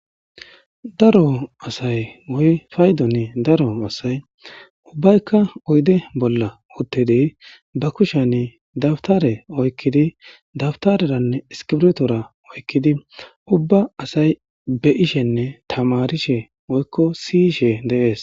Daro asay woy paydon daro asay ubbayka oyde bolla utid ba kushan dawutare oykid , dawuterene iskirto oykid siyishenne tamarishe Des.